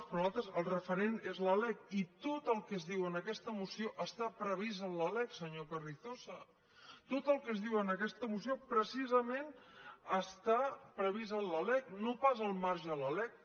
per a nos·altres el referent és la lec i tot el que es diu en aques·ta moció està previst en la lec senyor carrizosa tot el que es diu en aquesta moció precisament està pre·vist en la lec no pas al marge de la lec